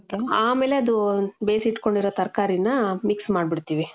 ಆಮೇಲೆ ಅದು ಬೇಸಿಟ್ಕೊಂಡಿರೋ ತರ್ಕಾರಿನ್ನ mix ಮಾದ್ಬಿಡ್ತೀವಿ.